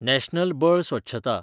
national बळ स्वच्छता